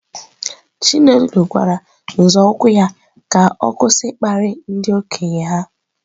Chinelo gwara nzọụkwụ ya ka ọ kwụsị ịkparị ndị okenye ha.